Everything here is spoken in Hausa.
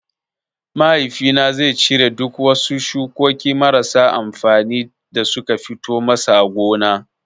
Mahaifi na zai cire duk wasu shukokin marasa amfani da suka fito masa a gona.